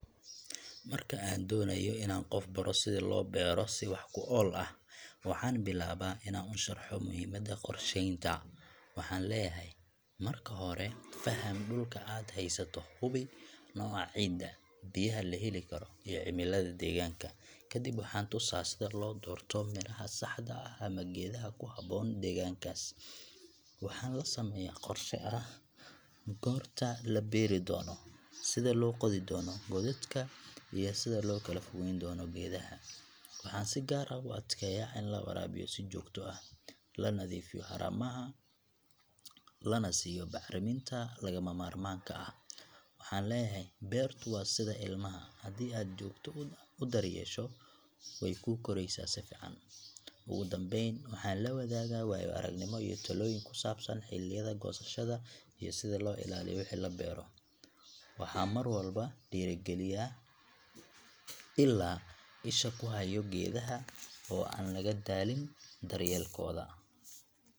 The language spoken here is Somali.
Marka aan doonayo inaan qof baro sida loo beero si wax ku ool ah, waxaan bilaabaa inaan u sharxo muhiimada qorsheynta. Waxaan leeyahay: Marka hore, faham dhulka aad haysato — hubi nooca ciidda, biyaha la heli karo, iyo cimilada deegaanka. Kadib waxaan tusaa sida loo doorto miraha saxda ah ama geedaha ku habboon deegaankaas. Waxaan la sameeyaa qorshe ah goorta la beeri doono, sida loo qodi doono godadka, iyo sida loo kala fogeyn doono geedaha. Waxaan si gaar ah u adkeeyaa in la waraabiyo si joogto ah, la nadiifiyo haramaha, lana siiyo bacriminta lagama maarmaanka ah. Waxaan leeyahay: Beertu waa sida ilmaha — haddii aad si joogto ah u daryeesho, way kuu koraysaa si fiican. Ugu dambayn, waxaan la wadaagaa waayo-aragnimo iyo talooyin ku saabsan xilliyada goosashada iyo sida loo ilaaliyo wixii la beero. Waxaan mar walba dhiirrigeliyaa ilaa isha ku hayo geedaha oo aan laga daalin daryeelkooda.